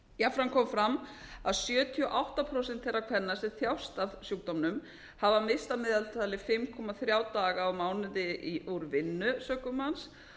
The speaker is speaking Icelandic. jafnframt kom fram að sjötíu og átta prósent þeirra kvenna sem þjást af sjúkdómnum hafa misst að meðaltali fimm komma þrjá daga á mánuði úr vinnu sökum hans þannig